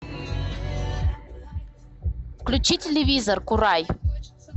включи телевизор курай